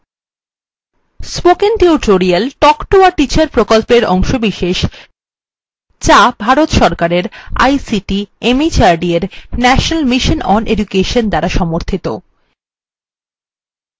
কথ্য tutorial project একটি শিক্ষক প্রকল্প থেকে টক শিক্ষা জাতীয় আইসিটি mhrd ভারত সরকার মাধ্যমে mission দ্বারা সমর্থিত এর একটি অংশ